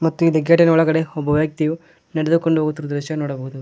ಮತ್ತು ಇಲ್ಲಿ ಗೆಟಿ ನ ಒಳಗಡೆ ಒಬ್ಬ ವ್ಯಕ್ತಿಯು ನಡೆದುಕೊಂಡು ಹೋಗುತ್ತಿರುವ ದೃಶ್ಯ ನೋಡಬಹುದು.